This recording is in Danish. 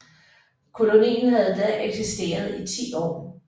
Kolonien havde da eksisteret i 10 år